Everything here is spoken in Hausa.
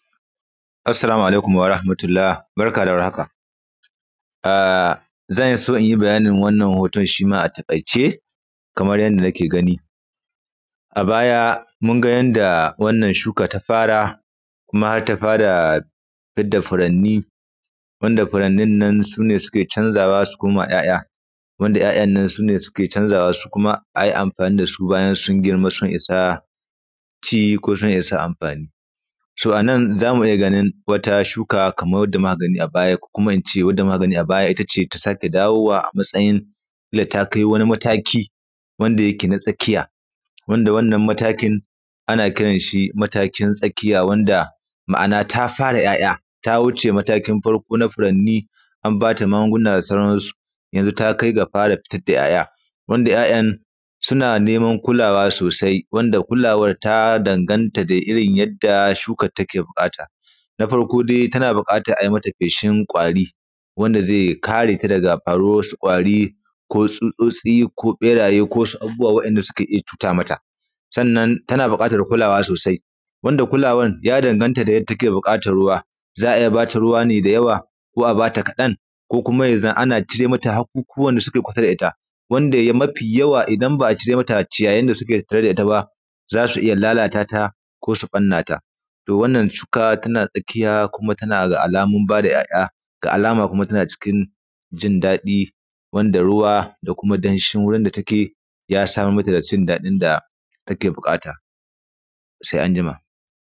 Assalamu alaikum warahamatulla, barka da warhaka, a; zan so in yi bayanin wannan hoton shi ma a taƙaice, kamar yanda nake gani. A baya, mun ga yanda wannan shuka ta fara, kuma hat ta fara fid da firanni wannda firannin nan su ne suke canzawa su koma ‘ya’ya. Wanda ‘ya’yan nan kuma su ne suke canzawa su kuma a yi amfani da su bayan sun girma sun isa ci ko sun isa amfani. To, a nan za mu iya ganin wata shuka kamar da magani a baya ko kuma in ce wadda magani a baya ita ce ta sake dawowa matsayin na ta kai wani mataki wanda yake na tsakiya. Wanda wannan matakin, ana kiran shi matakin tsakiya wanda ma’ana ta fara ‘ya’ya, ta wuce matakin farko na firanni, an ba ta magunguna da sauran su, yanzu ta kai ga fara fitad da ‘ya’ya. Wanda ‘ya’yan suna neman kulawa sosai, wanda kulawar ta danganta da irin yadda shukar take buƙata. Na farko de tana buƙatar ai mata feshin ƙwari, wanda ze kare ka daga faruwar wasu ƙwari ko tsutsotsi ko ƃeraye ko wasu abubuwa waɗanda suke iya cuta mata. Sannan, tana buƙatar kulawa sosai, wanda kulawar ya danganta da yanda take buƙatar ruwa. Za a iya ba ta ruwa ne da yawa ko a ba ta kaɗan ko kuma ya zan ana cire mata haƙuƙuwan da suke kusa da ita. Wanda mafi yawa idan ba a cire mata ciyayin da suke kusa da it aba, za su iya lalata ta ko su ƃanna ta. To, wannan shuka tana tsakiya kuma tana ga alamun ba da ‘ya’ya, ga alama kuma tana cikin jin daɗi wanda ruwa da kuma danshin wurin da take, ya samar mata da jin daɗin da take buƙata, se anjima.